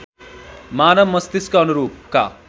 मानव मस्तिष्क अनुरूपका